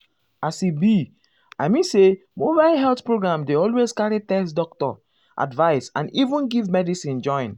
as e be i mean say mobile health program dey always carry test doctor advice and even give medicine join.